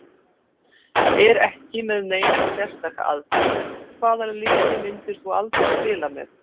Er ekki með neina sérstaka aðferð Hvaða liði myndir þú aldrei spila með?